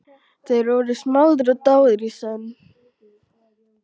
Þeir voru smáðir og dáðir í senn.